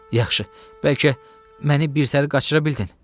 “Yaxşı, bəlkə məni birdənə qaçıra bildin?”